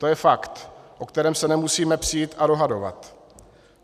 To je fakt, o kterém se nemusíme přít a dohadovat.